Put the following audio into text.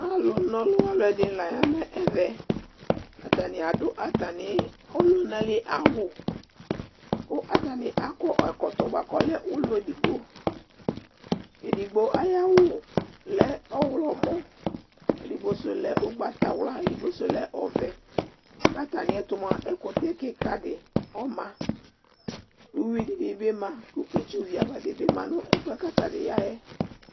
Alu nɔlu ɔluɛdini la ya nʋ ɛvɛAtani adʋ atani ,ɔlunali awu Kʋ atani akɔ ɛkɔtɔ di buakʋ ɔlɛ ulɔ edigboƐdigbo ayawu lɛ ɔɣlɔmɔ, edigbo zu lɛ ugbatawla, edigbo zu lɛ ɔvɛKatamiɛtu mua ɛkutɛ kika di ɔmaUwi dini bi ma, kʋ itsu viava dibi ma nʋ ɛfuɛ katani ya yɛ